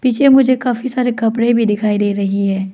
पीछे मुझे काफी सारे कपड़े भी दिखाई दे रही है।